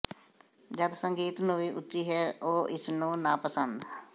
ਜਦ ਸੰਗੀਤ ਨੂੰ ਵੀ ਉੱਚੀ ਹੈ ਉਹ ਇਸ ਨੂੰ ਨਾਪਸੰਦ